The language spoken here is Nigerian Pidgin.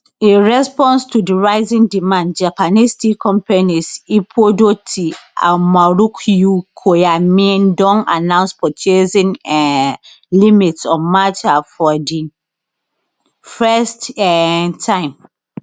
in response to di rising demand japanese tea companies ippodo tea and marukyu koyamaen don announce purchasing um limits on matcha for di first um time